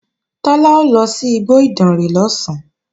Tọ́lá ó lọ sí igbó Ìdànrè lọ̀sán